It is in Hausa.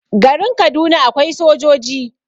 garin Kaduna akwai sojoji